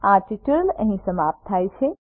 અહીં આ ટ્યુટોરીયલ સમાપ્ત થાય છે